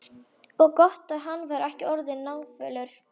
Og gott ef hann var ekki orðinn náfölur.